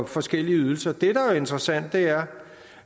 forskellige ydelser det der er interessant er